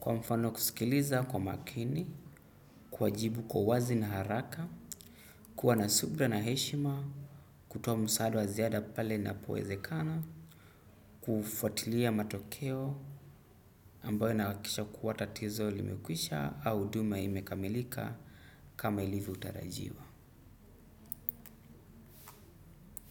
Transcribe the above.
Kwa mfano kusikiliza kwa makini, kuwajibu kwa uwazi na haraka, kuwa na subira na heshima, kutoa msaada wa ziada pale ninapowezekana, kufuatilia matokeo, ambayo nahakikisha kuwa tatizo limekwisha au huduma imekamilika. Kama ilivyotarajiwa.